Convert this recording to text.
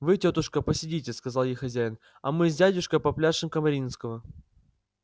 вы тётушка посидите сказал ей хозяин а мы с дядюшкой попляшем камаринского